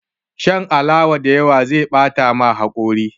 Shan alawa da yawa zai bata ma haƙori